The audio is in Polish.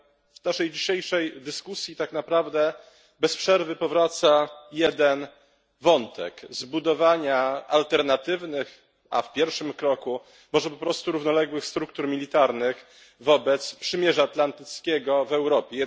W naszej dzisiejszej dyskusji tak naprawdę bez przerwy powraca jeden wątek zbudowania alternatywnych, a w pierwszym etapie może po prostu równoległych struktur militarnych wobec przymierza atlantyckiego w Europie.